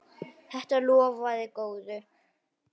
Þetta lofaði góðu.